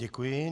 Děkuji.